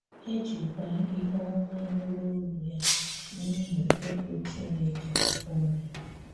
“E jikwà ihu ọmà nụrụ̀ olu ya n’ihi egwù Chinekè o nwere.”